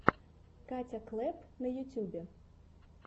катя клэпп на ютубе